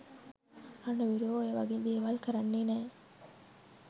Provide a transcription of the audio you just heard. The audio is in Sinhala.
රණවිරුවෝ ඔය වගේ දේවල් කරන්නේ නෑ